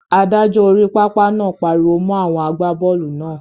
Adájọ́ orí pápá náà pariwo mọ́ àwọn àgbábọ́ọ̀lù náà.